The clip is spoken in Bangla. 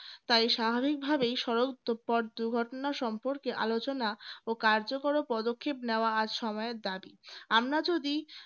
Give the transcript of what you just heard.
তাই স্বাভাবিকভাবেই সড়ক দুর্ঘটনা সম্পর্কে আলোচনা ও কার্যকর ও পদক্ষেপ নেওয়া আর সময়ের দাবি আমরা যদি